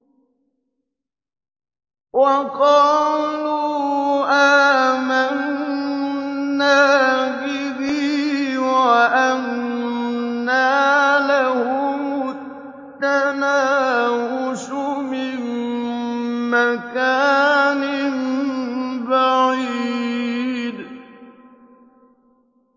وَقَالُوا آمَنَّا بِهِ وَأَنَّىٰ لَهُمُ التَّنَاوُشُ مِن مَّكَانٍ بَعِيدٍ